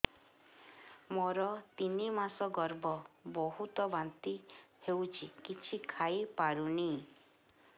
ମୋର ତିନି ମାସ ଗର୍ଭ ବହୁତ ବାନ୍ତି ହେଉଛି କିଛି ଖାଇ ପାରୁନି